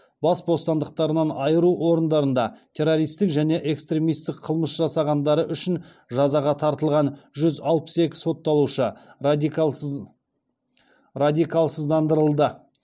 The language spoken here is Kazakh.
бас бостандықтарынан айыру орындарында террористік және экстремистік қылмыс жасағандары үшін жазаға тартылған жүз алпыс екі сотталушы радикалсыздандырылды